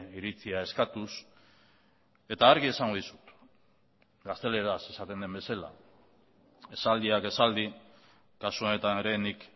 iritzia eskatuz eta argi esango dizut gazteleraz esaten den bezala esaldiak esaldi kasu honetan ere nik